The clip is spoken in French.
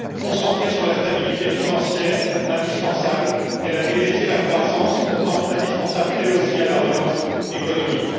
Concentrée sur la stabilité financière indispensable, elle a délaissé la croissance pourtant indispensable, elle aussi, à la relance économique.